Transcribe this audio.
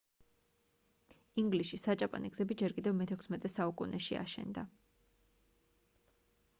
ინგლისში საჭაპანე გზები ჯერ კიდევ მე-16 საუკუნეში აშენდა